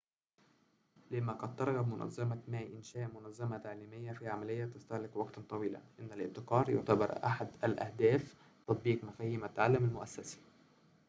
لما قد ترغب منظمة ما إنشاء منظمة تعليمية في عملية تستهلك وقتاً طويلاً إنّ الابتكار يُعتبر أحد أهداف تطبيق مفاهيم التعلم المؤسّسي